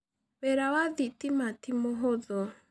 Wĩra wa thĩtĩma tĩ mũhũthũ.